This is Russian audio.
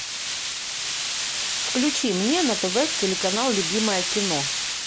включи мне на тв телеканал любимое кино